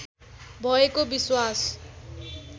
भएको विश्वास